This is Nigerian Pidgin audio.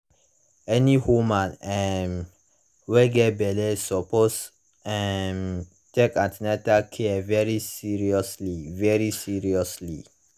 any women um wey get belle suppose um take an ten atal care very seriously very seriously